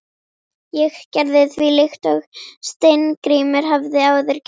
Ég gerði því líkt og Steingrímur hafði áður gert.